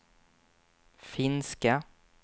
finska